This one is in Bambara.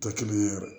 Tɛ kelen ye yɛrɛ